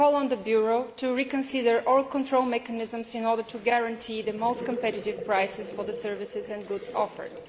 We call on the Bureau to review all control mechanisms in order to guarantee the most competitive prices for the services and goods offered.